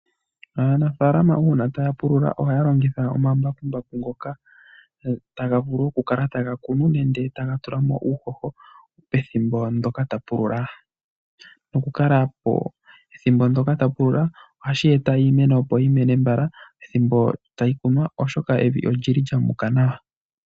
Aanafalama uuna taya pululula ohaya longitha omambakumbaku ngoka taga vulu okukala taga kunu nenge taga tulamo uuhoho pethimbo ndoka tapulula ohashi eta opo iimeno opo yimene mbala ethimbo tayi kunwa oshoka evi olyili lyamuka nawa.